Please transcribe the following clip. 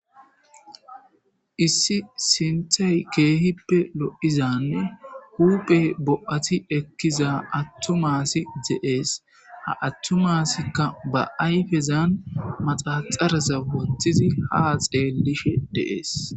Issi sinththey kehippe loiizane huphphey bo'atti ekkiza attuma assay de7es ha attuma assika ba ayffezan maxaxareza woththidi ha xellishe de7es.